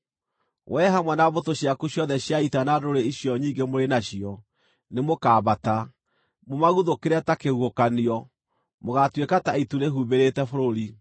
Wee hamwe na mbũtũ ciaku ciothe cia ita na ndũrĩrĩ icio nyingĩ mũrĩ nacio nĩmũkambata, mũmaguthũkĩre ta kĩhuhũkanio; mũgaatuĩka ta itu rĩhumbĩrĩte bũrũri.